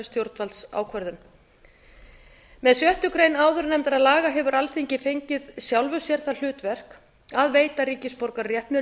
stjórnvaldsákvörðun með sjöttu grein áður nefndra laga hefur alþingi fengið sjálfu sér það hlutverk að veita ríkisborgararétt með